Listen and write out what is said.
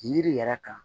Yiri yɛrɛ kan